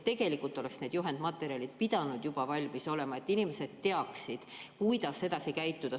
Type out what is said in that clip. Tegelikult oleksid need juhendmaterjalid pidanud juba valmis olema, et inimesed teaksid, kuidas edasi käituda.